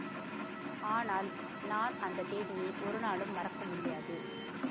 ஆனால் நான் அந்த தேதியை ஒரு நாளும் மறக்க முடியாது